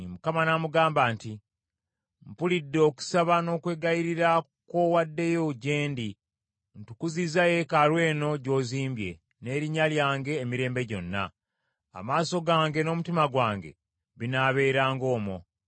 Mukama n’amugamba nti, “Mpulidde okusaba n’okwegayirira kw’owaddeyo gye ndi; ntukuzizza yeekaalu eno gy’ozimbye, n’erinnya lyange, emirembe gyonna. Amaaso gange n’omutima gwange binaabeeranga omwo.